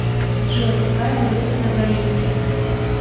джой какая валюта на гаити